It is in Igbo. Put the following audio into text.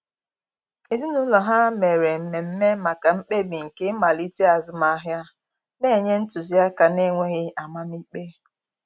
Ezinụlọ ha mere mmeme maka mkpebi nke ịmalite azụmahịa, na-enye ntụzi aka na-enweghi amam ikpe.